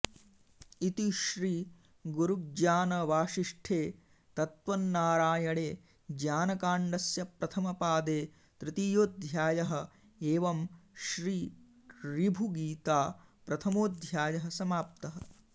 इति श्री गुरुज्ञानवासिष्ठे तत्त्वनारायणे ज्ञानकाण्डस्य प्रथमपादे तृतीयोऽध्यायः एवं श्री ऋभुगीता प्रथमोऽध्यायः समाप्तः